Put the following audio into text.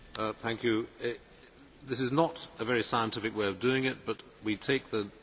This is not a very scientific way of doing it, but we take the names as they come in.